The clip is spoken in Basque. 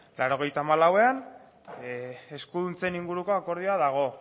laurogeita hamalauean eskuduntzen inguruko akordioa dago